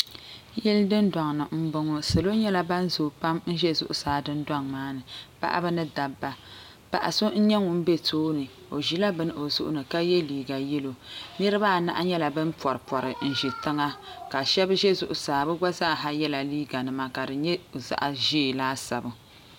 Yili dundoŋni m boŋɔ salo nyɛla ban zoo pam n ʒɛ zuɣusaa dundoŋ maani paɣaba ni dabba paɣa so n nyɛ ŋun be tooni o ʒila bini o zuɣuni ka ye liiga yelo niriba anahi nyɛla ban poripori n ʒi tiŋa ka sheba ʒɛ zuɣusaa bɛ gba zaaha yela liiga nima ka di nyɛ zaɣa ʒee laasabu.